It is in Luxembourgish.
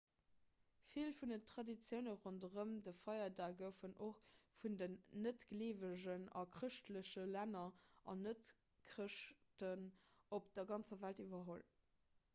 vill vun den traditioune ronderëm de feierdag goufen och vun den net-gleewegen a chrëschtleche länner an net-chrëschten op der ganzer welt iwwerholl